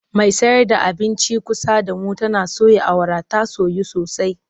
Mai sayar da abincin kusa da mu tana soya awara ta soyu sosai.